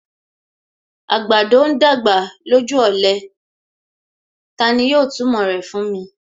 Àgbàdo ń dàgbà lójú ọ̀lẹ; Tani yóò túmọ̀ rẹ̀ fún mi.